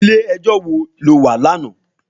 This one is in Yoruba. Ilé èjò wó ló wá làná?